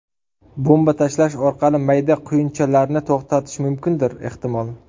Bomba tashlash orqali mayda quyunchalarni to‘xtatish mumkindir ehtimol.